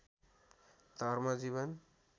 धर्म जीवन